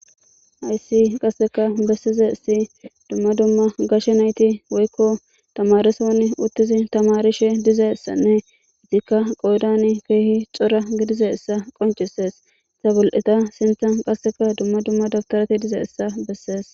Aysi qasseka bessize si dumma dumma gashe nayti woykko tamareson uttizi tamarishe dizessanne itikka qoodan keehi xora gidize issa qoncisees tabul'eta sintan qasseka dumma dumma daftorati dize issa bessees.